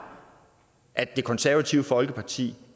at det konservative folkeparti